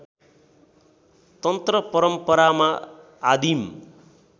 तन्त्र परम्परामा आदिम